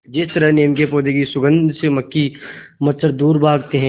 जिस तरह नीम के पौधे की सुगंध से मक्खी मच्छर दूर भागते हैं